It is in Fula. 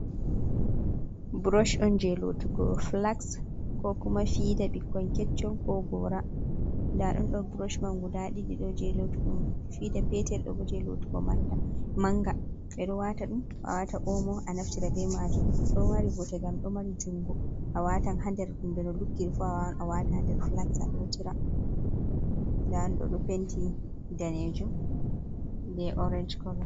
Buroch on jey lootugo filaks, ko kuma fiida ɓikkon keccon, ko goora, nda ɗum ɗo buroch man guda ɗiɗi, ɗo jey lootugo fiida peetel, ɗo bo jey lootugo mannga, ɓe ɗo waata ɗum a waata oomo a naftira be maajum ɗo mari bote ngam ɗo mari junngo, a watan haa nder kuma be no luggiri a waawan a waata nder filaks a lootira, ndaɗum ɗo ɓe penti daneejum be orenj kolo.